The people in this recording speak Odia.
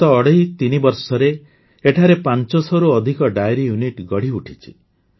ଗତ ଅଢ଼େଇ ତିନି ବର୍ଷରେ ଏଠାରେ ୫୦୦ ରୁ ଅଧିକ ଡେୟରି ୟୁନିଟ୍ ଗଢ଼ିଉଠିଛି